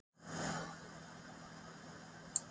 Erla, stilltu niðurteljara á áttatíu og átta mínútur.